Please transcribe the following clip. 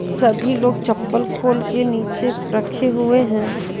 सभी लोग चप्पल खोल के नीचे रखे हुए हैं।